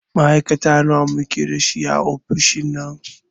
Ma'aikata nawa muke da shi a ofishin nan?